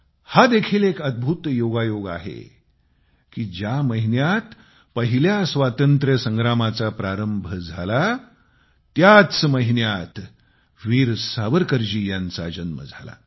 हा देखील एक अदभूत योगायोग आहे की ज्या महिन्यात पहिल्या स्वातंत्र्यसंग्रामाचा प्रारंभ झाला त्याच महिन्यात वीर सावरकरजी यांचा जन्म झाला